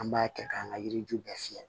An b'a kɛ k'an ka yiri ju bɛɛ fiyɛ